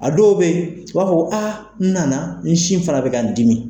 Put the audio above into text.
A dɔw bɛ yen, u b'a fɔ ko aa nana n sin fana bɛ ka n dimi.